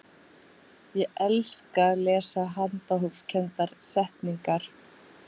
ég elska að lesa handahófskendar settningar